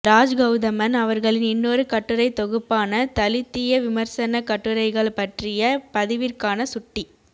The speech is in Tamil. ராஜ்கௌதமன் அவர்களின் இன்னொரு கட்டுரைத் தொகுப்பான தலித்திய விமர்சனக் கட்டுரைகள் பற்றிய பதிவிற்கான சுட்டி